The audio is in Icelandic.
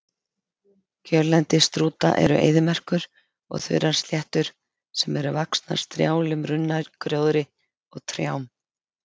Kjörlendi strúta eru eyðimerkur og þurrar sléttur sem eru vaxnar strjálum runnagróðri og trjám.